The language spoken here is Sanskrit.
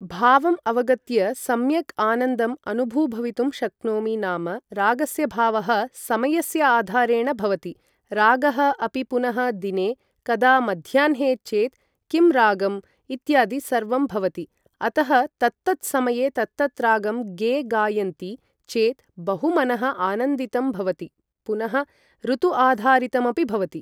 भावम् अवगत्य सम्यक् आनन्दम् अनुभू भवितुं शक्नोमि नाम रागस्य भावः समयस्य आधारेण भवति रागः अपि पुनः दिने कदा मध्याह्ने चेत् किं रागम् इत्यादि सर्वं भवति अतः तत्तत् समये तत्तत् रागं गे गायन्ति चेत् बहु मनः आनन्दितं भवति पुनः ऋुतु आधारितमपि भवति ।